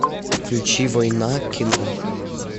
включи война кино